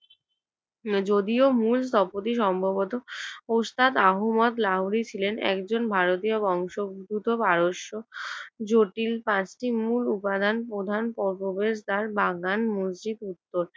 যদিও মূল স্থপতি সম্ভবত ওস্তাদ আহমদ লাহোরী ছিলেন একজন ভারতীয় বংশদ্ভুত পারস্য। জটিল পাঁচটি মূল উপাদান প্রধান প্র~ প্রবেশদ্বার, বাগান, মসজিদ উত্তর